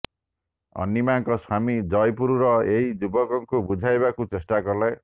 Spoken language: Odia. ଅନୀମାଙ୍କ ସ୍ବାମୀ ଜୟପୁରର ଏହି ଯୁବକଙ୍କୁ ବୁଝାଇବାକୁ ଚେଷ୍ଟା କଲେ